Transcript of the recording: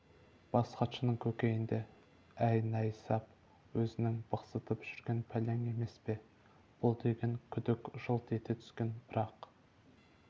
бас хатшының көкейінде әй найсап өзіңнің бықсытып жүрген пәлең емес пе бұл деген күдік жылт ете түскен брақ